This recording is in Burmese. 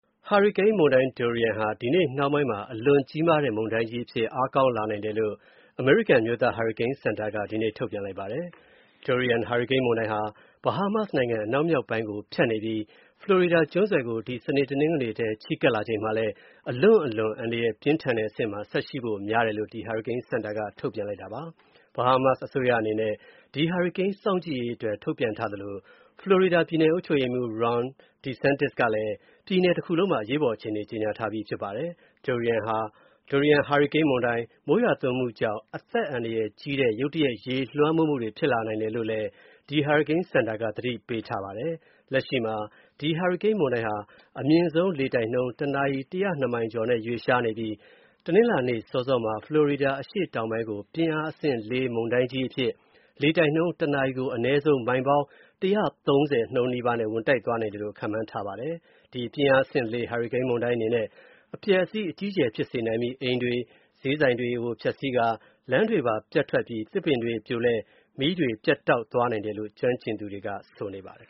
ဟာရီကိန်းမုန်တိုင်း Dorian ဟာ ဒီနေ့နှောင်းပိုင်းမှာ အလွန်ကြီးမားတဲ့ မုန်တိုင်းကြီးအဖြစ် အားကောင်းလာနိုင်တယ်လို့ အမေရိကန် အမျိုးသားဟာရီကိန်းစင်တာက ဒီနေ့ ထုတ်ပြန်လိုက်ပါတယ်။ Dorian ဟာရီကိန်းမုန်တိုင်းဟာ Bahamas နိုင်ငံ အနောက်မြောက်ပိုင်းကို ဖြတ်နေပြီး ဖလော်ရီဒါကျွန်းဆွယ်ကို ဒီစနေ၊ တနင်္ဂနွေထဲ ချဉ်းကပ်လာချိန်မှာလည်း အလွန့်အလွန် အန္တရာယ်ပြင်းထန်တဲ့အဆင့်မှာ ဆက်ရှိဖို့များတယ်လို့ ဒီဟာရီကိန်းစင်တာက ထုတ်ပြန်လိုက်ပါတယ်။ Bahamas အစိုးရအနေနဲ့ ဒီဟာရီကိန်း စောင့်ကြည့်ရေးအတွက် ထုတ်ပြန်ထားသလို ဖလော်ရီဒါပြည်နယ် အုပ်ချုပ်ရေးမူး Ron DeSantis ကလည်းပြည်နယ်တခုလုံးမှာ အရေးပေါ်အခြေအနေ ကြေညာထားပြီးဖြစ်ပါတယ်။ Dorian ဟာရီကိန်းမုန်တိုင်း မိုးရွာသွန်းမူကြောင့် အသက်အန္တရာယ်ကြီးတဲ့ ရုတ်တရက် ရေလွှမ်းမိုးမူတွေ ဖြစ်လာနိုင်တယ်လို့ ဒီ ဟာရီကိန်းစင်တာက သတိပေးနေပါတယ်။ လက်ရှိမှာ ဒီ ဟာရီကိန်းမုန်တိုင်းဟာ အမြင်းဆုံးလေတိုက်နှုန်း တနာရီ မိုင် ၁၀၂ ကျော်နဲ့ ရွေ့ရှားနေပြီးတနင်္လာနေ့ စောစောမှာ ဖလော်ရီဒါ အရှေ့တောင်ပိုင်းကို ပြင်းအားအဆင့် ၄ မုန်တိုင်းကြီးအဖြစ် လေတိုက်နှုန်း တနာရီကို အနည်းဆုံး မိုင်ပေါင်း ၁၃၀ နှုန်းနီးပါးနဲ့ ဝင်တိုက်သွားနိုင်တယ်လို့ ခန့်မှန်းထားပါတယ်။ ဒီ ပြင်းအားအဆင့် ၄ ဟာရီကိန်းမုန်တိုင်းအနေနဲ့ အပျက်အစီး အကြီးအကျယ် ဖြစ်စေနိုင်ပြီး အိမ်တွေ၊ ဈေးဆိုင်တွေကို ဖျက်ဆီးပစ်ကာ လမ်းတွေပျက်ထွက်ပြီး သစ်ပင်တွေပြိုလဲ မီးတွေပြတ်သွားနိုင်တယ်လို့ ကျွမ်းကျင်သူတွေက ဆိုပါတယ်